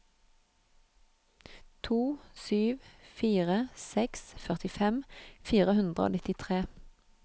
to sju fire seks førtifem fire hundre og nittitre